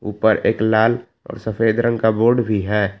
ऊपर एक लाल और सफेद रंग का बोर्ड भी है।